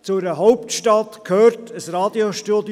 Zu einer Hauptstadt gehört ein Radiostudio.